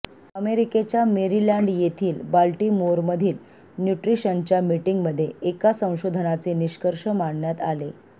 अमेरिकेच्या मेरीलँड येथील बाल्टीमोरमधील न्यूट्रीशनच्या मीटिंगमध्ये एका संशोधनाचे निष्कर्ष मांडण्यात आले